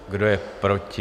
Kdo je proti?